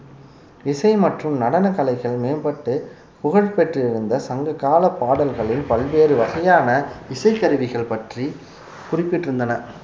இசை மற்றும் நடன கலைகள் மேம்பட்டு புகழ் பெற்றிருந்த சங்ககாலப் பாடல்களில் பல்வேறு வகையான இசை கருவிகள் பற்றி குறிப்பிட்டிருந்தன